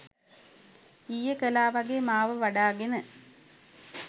ඊයේ කළා වගේ මාව වඩාගෙන